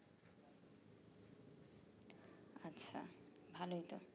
ভালোই তো